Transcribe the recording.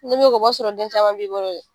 Ni b'o kɛ, o b'a sɔrɔ den caman b'i bolo dɛ!